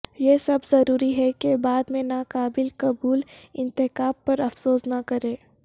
یہ سب ضروری ہے کہ بعد میں ناقابل قبول انتخاب پر افسوس نہ کریں